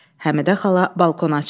Həmidə xala balkona çıxır.